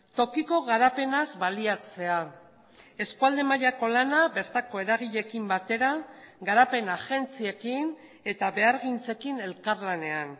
tokiko garapenaz baliatzea eskualde mailako lana bertako eragileekin batera garapen agentziekin eta behargintzekin elkarlanean